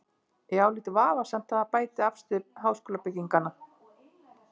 Ég álít vafasamt að það bæti afstöðu háskólabygginganna.